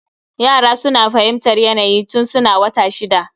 Yara suna fahimtar yanayi tun suna wata shida